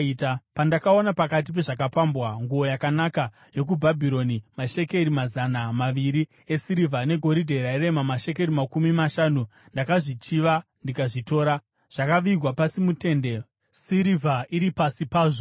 Pandakaona pakati pezvakapambwa nguo yakanaka yokuBhabhironi, mashekeri mazana maviri esirivha negoridhe rairema mashekeri makumi mashanu , ndakazvichiva ndikazvitora. Zvakavigwa pasi mutende, sirivha iri pasi pazvo.”